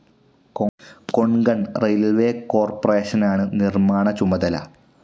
Konkan railways കോർപ്പറേഷനാണ് നിർമ്മാണ ചുമതല.